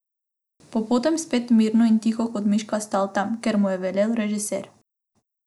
Pa potem spet mirno in tiho kot miška stal tam, kjer mu je velel režiser.